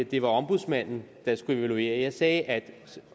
det var ombudsmanden der skulle evaluere jeg sagde at